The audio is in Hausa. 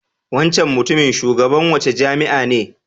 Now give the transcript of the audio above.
Wancan mutumin Shugaban wace jami'a ne?